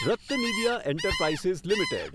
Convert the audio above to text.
RattanIndia enterprises limited